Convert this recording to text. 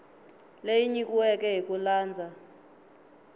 leyi nyikiweke hi ku landza